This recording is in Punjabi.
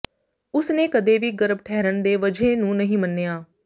ਉਸਨੇ ਕਦੇ ਵੀ ਗਰਭ ਠਹਿਰਨ ਦੇ ਵਜ੍ਹੇ ਨੂੰ ਨਹੀਂ ਮੰਨਿਆ